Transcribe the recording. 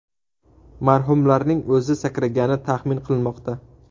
Marhumlarning o‘zi sakragani taxmin qilinmoqda.